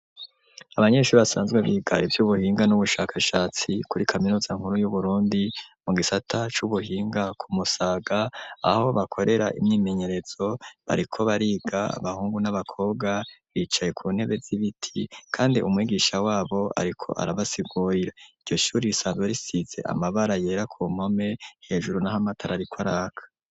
Abanyeshuri basanzwe biga ivyubuhinga n'ubushakashatsi kuri kaminuza nkuru y'uburundi mu gisata c'ubuhinga ku Musaga aho bakorera imyimenyerezo bariko bariga abahungu n'abakobwa bicaye ku ntebe z'ibiti kandi umwigisha wabo ariko arabasigurira iryo shuri risanzwe rifise amabara yera ku mpome hejuru naho amatara ariko araka.